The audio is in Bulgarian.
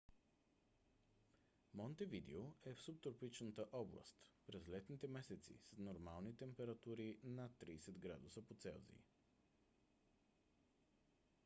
монтевидео е в субтропичната област; през летните месеци са нормални температури над +30 °c